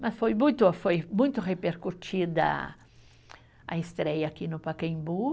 Mas foi muito, foi muito repercutida a estreia aqui no Pacaembu.